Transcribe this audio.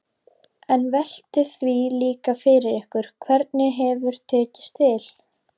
En veltið því líka fyrir ykkur hvernig hefur tekist til?